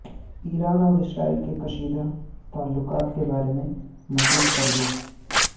ایران اور اسرائیل کے کشیدہ تعلقات کے بارے میں مزید پڑھیے